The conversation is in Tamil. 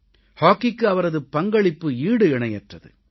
ஹாக்கிக்கு அவரது பங்களிப்பு ஈடு இணையற்றது